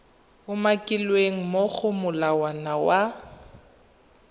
umakilweng mo go molawana wa